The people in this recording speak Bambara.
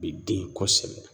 Bɛ den kosɛbɛ.